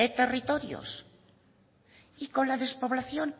territorios y con la despoblación